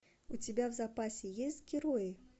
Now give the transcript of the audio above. у тебя в запасе есть герои